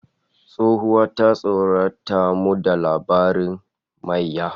Tsohuwa ta tsorata mu da labarin mayya